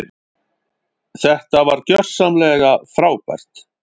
Þetta var gjörsamlega frábært.